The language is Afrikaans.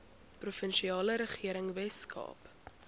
provinsiale regering weskaap